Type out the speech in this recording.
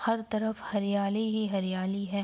हर तरफ हरियाली ही हरियाली है।